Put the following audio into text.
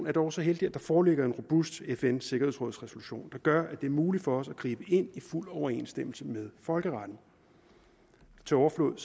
er dog så heldigt at der foreligger en robust fn sikkerhedsrådsresolution der gør at det er muligt for os at gribe ind i fuld overensstemmelse med folkeretten til overflod